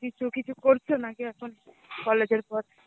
কিছু কিছু করছো নাকি এখন college এর পর?